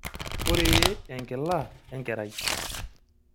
Koree enkila enkerai?